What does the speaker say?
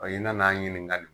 i nan'an ɲininka